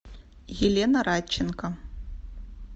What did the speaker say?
елена радченко